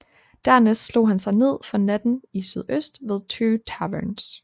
Dernæst slog han sig ned for natten i sydøst ved Two Taverns